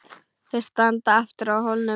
Þau standa aftur á hólnum.